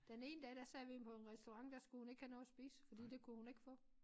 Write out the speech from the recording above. Den ene dag der sad vi på en restaurant der skulle hun ikke have noget at spise fordi det kunne hun ikke få